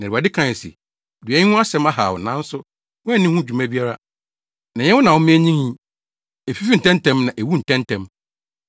Na Awurade kae se, “Dua yi ho asɛm ahaw wo, nanso woanni ho dwuma biara, na ɛnyɛ wo na woma enyinii. Efifii ntɛmntɛm na ewuu ntɛmntɛm.